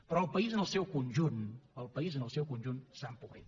però el país en el seu conjunt el país en el seu conjunt s’ha empobrit